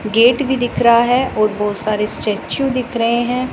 Gate भी दिख रहा है और बहोत सारे स्टेच्यू दिख रहे है।